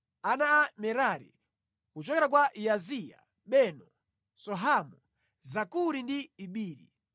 Ana a Merari: Kuchokera kwa Yaaziya: Beno, Sohamu, Zakuri ndi Ibiri.